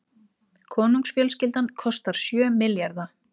Konungsfjölskyldan kostar sjö milljarða